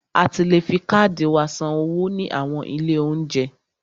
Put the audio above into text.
A ti le fi káàdì wa san owó ní àwọn ilé óúnjẹ.